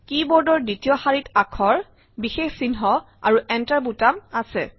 কী বোৰ্ডৰ দ্বিতীয় শাৰীত আখৰ বিশেষ চিহ্ন আৰু Enter বুটাম আছে